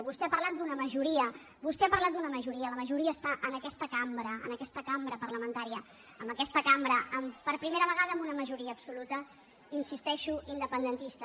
vostè ha parlat d’una majoria vostè ha parlat d’una majoria la majoria està en aquesta cambra en aquesta cambra parlamentària en aquesta cambra amb per primera vegada una majoria absoluta hi insisteixo independentista